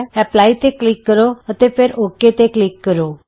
apply ਤੇ click ਕਰੋ ਅਤੇ ਫਿਰ ਔਕੇ ਤੇ ਕਲਿਕ ਕਰੋ